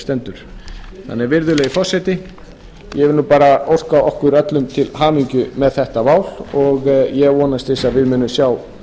stendur þannig virðulegi forseti ég vil nú bara óska okkur öllum til hamingju með þetta mál og ég vonast til þess að við munum sjá